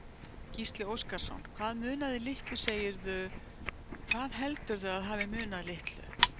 Gísli Óskarsson: Hvað munaði litlu segirðu, hvað heldurðu að hafi munað litlu?